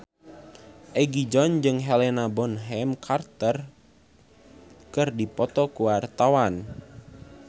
Egi John jeung Helena Bonham Carter keur dipoto ku wartawan